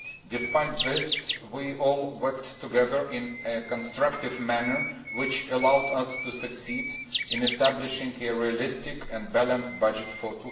Despite this, we all worked together in a constructive manner which allowed us to succeed in establishing a realistic and balanced budget for